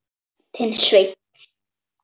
Þinn Sveinn.